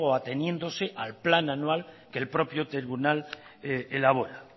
a ateniéndose al plan anual que el propio tribunal elabora